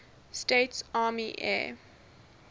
states army air